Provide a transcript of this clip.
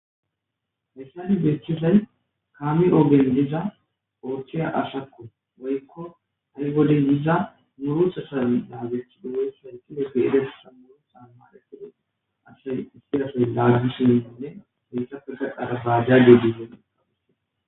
mesadi geeththesay kaami oogen diza ooththiya ashakko woykko ha7i boden yiza murutha sam daagethi dhumoy hanqile geede sammunu xa maletede asasay isirasa laaggishimindinne heetha pursa arabajade dizee adis